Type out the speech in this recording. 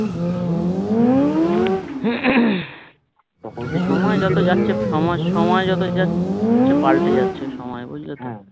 সময় যত যাচ্ছে সময় সময় যত যাচ্ছে পাল্টে যাচ্ছে সময় বুঝলে তো